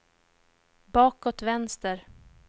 bakåt vänster